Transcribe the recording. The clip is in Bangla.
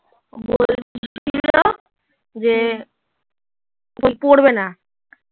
যে ও পড়বে না